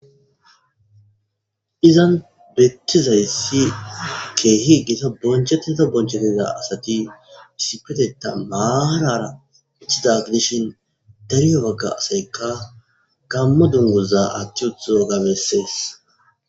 izan bettizayssi keehi gita bonchettita bonchetiza asati issipeteta maarara ithi daagdishin dariyo bagga asaykka gammo dunguza atti utho gabessees